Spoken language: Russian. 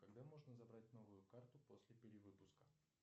когда можно забрать новую карту после перевыпуска